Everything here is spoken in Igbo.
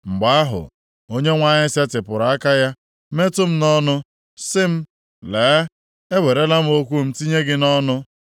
Mgbe ahụ, Onyenwe anyị setịpụrụ aka ya metụ m nʼọnụ, sị m, “Lee, ewerela m okwu m tinye gị nʼọnụ.